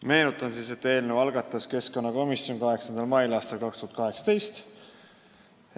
Meenutan, et eelnõu algatas keskkonnakomisjon 8. mail aastal 2018.